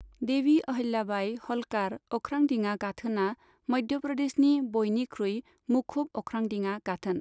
देवी अहल्याबाई ह'ल्कार अख्रांदिङा गाथोनआ मध्य प्रदेशनि बयनिख्रुइ मुखुब अख्रांदिङा गाथोन।